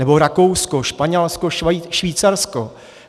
Nebo Rakousko, Španělsko, Švýcarsko.